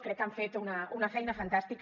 crec que han fet una feina fantàstica